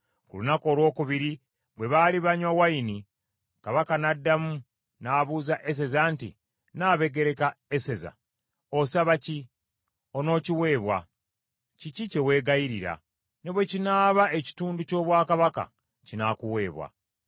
Ku lunaku olwokubiri bwe baali banywa wayini Kabaka n’addamu n’abuuza Eseza nti, “Nnabagereka Eseza osaba ki? Onookiweebwa. Kiki kye weegayirira? Ne bwe kinaaba ekitundu ky’obwakabaka, kinaakuweebwa.”